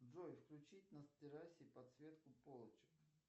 джой включить на террасе подсветку полочек